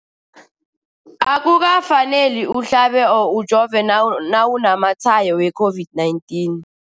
Akuka faneli uhlabe or ujove nawu namatshayo we-COVID-19.